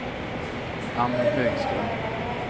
Ann Högström